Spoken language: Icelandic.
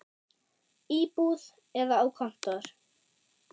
Í búð eða á kontór.